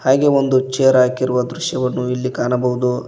ಹಾಗೆ ಒಂದು ಚೇರ್ ಹಾಕಿರುವ ದೃಶ್ಯವನ್ನು ಇಲ್ಲಿ ಕಾಣಬಹುದು.